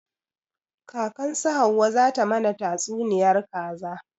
Kakan su hauwa za ta mana tatsuniyar kaza